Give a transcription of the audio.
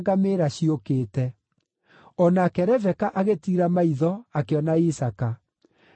O nake Rebeka agĩtiira maitho akĩona Isaaka. Akiuma ngamĩĩra igũrũ,